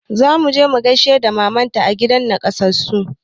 Zamu je mu gaishe da maman ta a gidan nakasassu